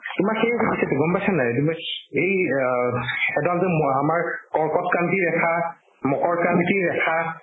তোমাক সেই সুধিছেতো গম পাইছানে নাই তোমাক এই অ এডাল যে মহ্ আমাৰ কৰ্কটক্ৰান্তি ৰেখা মকৰক্ৰান্তি ৰেখা